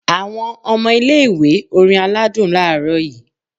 Awon omo ilé ìwé orín aladún laaro yi